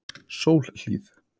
Sólhlíð